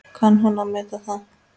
Kann hún að meta það?